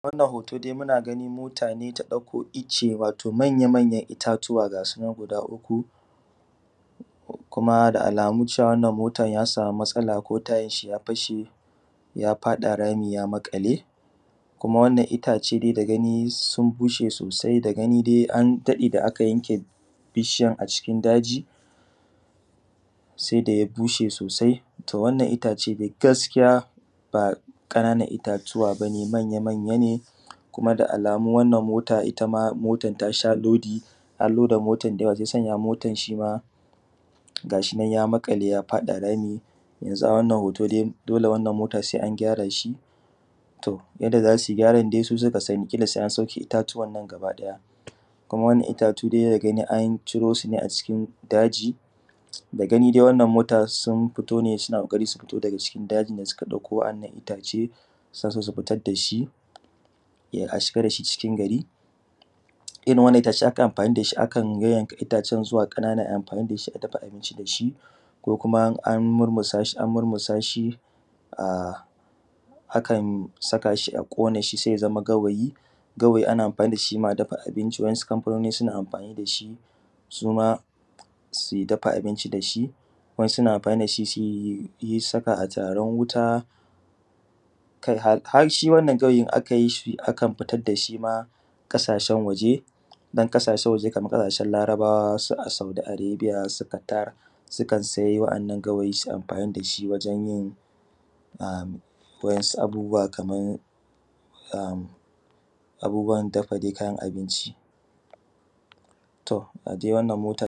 Wannan hoto dai muna gani mota ne ta ɗauka ice, wato manya-manyan itattuwa gasu nan guda uku, kuma da alamu wannan motan ya samu matsala ko tayanshi ya fashe ya faɗa rami ya maƙale, kuma wannan itace dai da gani sun bushe sosai, da gani dai an daɗe da aka yanke bishiyan a jikin daji, sai daya bushe sosai, to wannan itace gaskiya ba kana nan itatuwa bane, manya manya ne kuma da alamu wannan mota itama motan tasha lodi an loda motan da yawa shiyasa shima gashi nan ya maƙale ya faɗa rami, yanzu a wannan hoto dai dole wannan mota sai an gyara shi. To yadda za su gyaran dai su suka sani, kila sai an sauke itatuwan nan gaba ɗaya, kuma wani itatu dai da gani an cire su ne a daji, da gani dai wannan mota sun fito ne suna ƙoƙari su fito daga cikin dajin da suka ɗauko wa’annan itace, suna so sufitar dashi, a shiga dashi cikin gari, irin wannan itace akan amfani dashi akan yayyanka itacen zuwa ƙanana ai amfani dashi a dafa abinci dashi, ko kuma an murmusa shi a, akan saka shi a ƙone shi sai ya zama gawayi. Gawayi ana amfani dashi ma a dafa abinci, wasu kamfanoni suna amfani dashi suma su dafa abinci dashi, wa’insu suna amfani dashi suyi saka a turaran wuta, kai har shi wannan gawayin akan yi shi, akan fitar dashi ma ƙasashen waje, don ƙasashen waje kaman ƙasashen larabawa, su Saudi arebiya su Katar, sukan sai wa’annan gawayi su amfani dashi wajen yin am wa’insu abubuwa kaman am abubuwan dafa dai kayan abinci. To ga dai wannan motar.